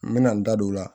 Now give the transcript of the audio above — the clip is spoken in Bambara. N bɛna n da don o la